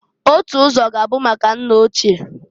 Otu ụzọ g'abụ maka nna ochie.